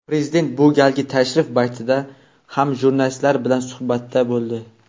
Prezident bu galgi tashrif paytida ham jurnalistlar bilan suhbatda bo‘ldi.